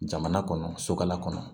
Jamana kɔnɔ sokala kɔnɔ